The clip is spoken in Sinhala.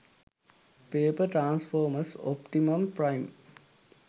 paper transformers optimum prime